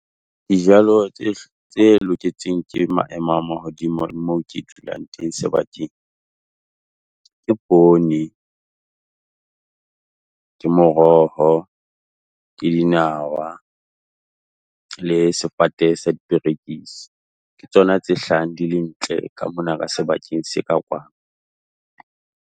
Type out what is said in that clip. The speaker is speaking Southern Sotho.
Dijalo tse tse loketseng ke maemo a mahodimo le moo ke dulang teng sebakeng, ke pone, ke moroho, ke dinawa le sefate sa diperekisi. Ke tsona tse hlahang di le ntle ka mona ka sebakeng se ka kwano.